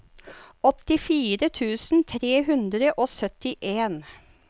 åttifire tusen tre hundre og syttien